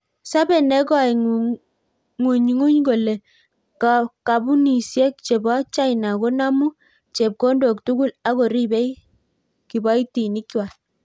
Sope nekoingunynguny kole kapunisiek chepo china konamuu chepkondok tugul Ako ripei kipoitinik kwaak